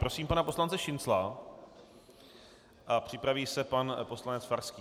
Prosím pana poslance Šincla a připraví se pan poslanec Farský.